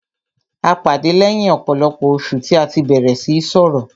A pàdé lẹ́yìn ọ̀pọ̀lọpọ̀ oṣù tí a tí bẹ̀rẹ̀ síí sọrọ̀.